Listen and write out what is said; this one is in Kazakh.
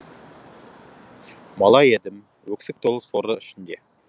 бала едім өксік толы соры ішінде